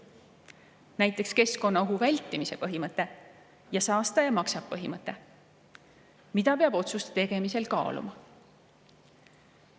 Näiteks keskkonnaohu vältimise põhimõte ja saastaja-maksab-põhimõte, mida peab otsuste tegemisel kaaluma.